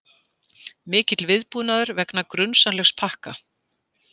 Mikill viðbúnaður vegna grunsamlegs pakka